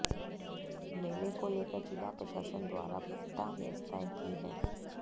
मेले को लेकर जिला प्रशासन द्वारा पुख्ता व्यवस्थाएं की हैं